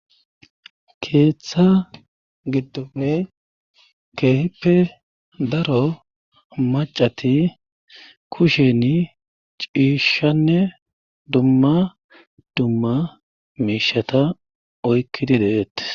Keeththa giddofe keeheppe daro macati kusheni ciishshanne dumma dumma miishata oykkidi dehete